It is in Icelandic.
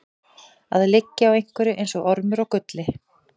Að liggja á einhverju eins og ormur á gulli